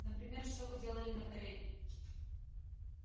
например что вы делали на кореле